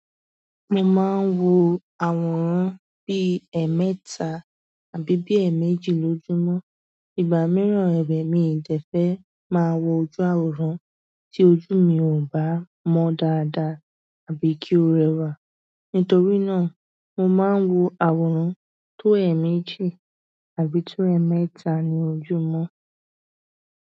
Mo máa ń wo àwòrán bí ẹmẹta àbí bí ẹméjì lójúmọ́. Ìgbà mìíràn kẹdẹ mi dẹ fẹ́ máa wo ojú àwòrán tí ojú mi ò bá mọ dáadáa àbí kí ó rẹwà. Nítorí náà, mo máa ń wo àwòrán tó ẹméjì àbí tó ẹmẹta ní ojúmọ́.